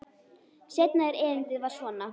Seinna erindið var svona: